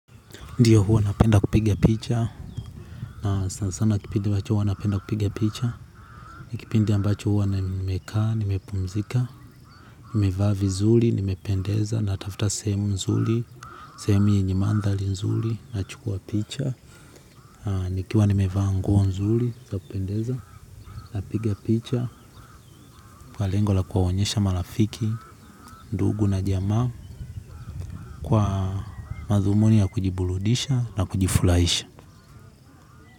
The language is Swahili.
Ndio huwa napenda kupiga picha. Na sana sana kipindi ambacho huwa napenda kupiga picha. Ni kipindi ambacho huwa na nimekaa, nime pumzika. Nimevaa vizuri, nimependeza na tafuta sehemu mzuri. Sehemu yenye mandhari nzuri na chukua picha. Nikiwa nimevaa nguo nzuri za kupendeza napiga picha kwa lengo la kuwaonyesha marafiki ndugu na jamaa kwa madhumuni ya kujiburudisha na kujifurahisha.